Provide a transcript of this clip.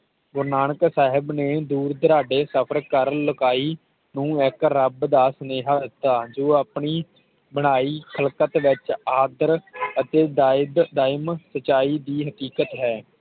ਗੁਰੂ ਨਾਨਕ ਸਾਹਿਬ ਨੇ ਦੁਰਦਾਰਾਂਦੇ ਕਬਰ ਕਰ ਲੁਕਾਈ ਤੂੰ ਹੈ ਇਕ ਰੱਬ ਦਾ ਸਨੇਹਾ ਦਿੱਤਾ ਜੋ ਆਪਣੀ ਬਣਾਈ ਖ਼ਲਕਤ ਵਿਚ ਆਕਰ ਤੇ ਦਾਯਿਦ ਦਮਨ ਸਚਾਈ ਦੀ ਹੈਕਿਆਤ ਹੈ